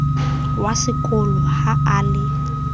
wa sekolo ha a le